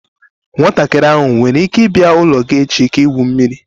Nwatakiri ahụ nwere ike ịbịa n'ụlọ gị echi ka igwu mmiri?